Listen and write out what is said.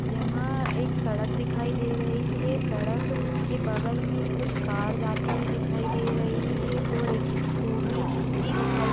यहाँ एक सड़क दिखाई दे रही है सड़क के बगल में कुछ कार जाती हुई दिखाई दे रही है और एक स्कूटी भी दिखाई--